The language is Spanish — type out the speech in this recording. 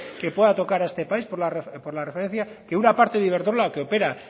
que pueda tocar a este país por la referencia que una parte de iberdrola el que opera